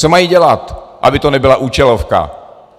Co mají dělat, aby to nebyla účelovka?